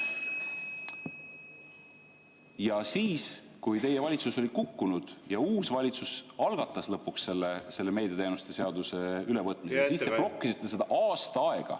Ja siis, kui teie valitsus oli kukkunud ja uus valitsus algatas lõpuks selle meediateenuste seaduse ülevõtmise, siis te blokkisite seda aasta aega.